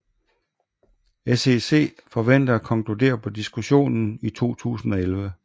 SEC forventer at konkludere på diskussionen i 2011